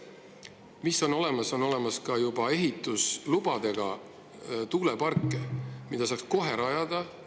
Mis on veel olemas: on olemas ka ehitusload tuuleparkide jaoks, mida saaks kohe rajada.